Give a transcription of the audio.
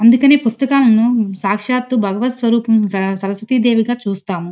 అందుకని పుస్తకాలను సాక్షాత్తు భగవత్ స్వరూప్ స-సరస్వతి దేవి గా చూస్తాము.